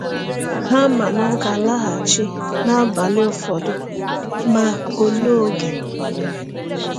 Ha ma na ọ ga-alaghachi n’abalị ụfọdụ, ma olee oge?